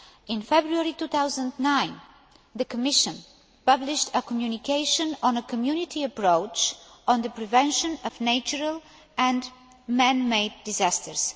In February 2009 the Commission published a communication on a Community approach to the prevention of natural and man made disasters.